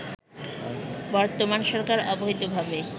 বর্তমান সরকার অবৈধভাবে